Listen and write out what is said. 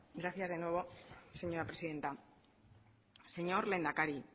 gracias de nuevo señora presidenta señor lehendakari